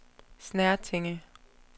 Snertinge